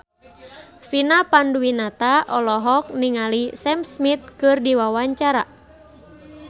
Vina Panduwinata olohok ningali Sam Smith keur diwawancara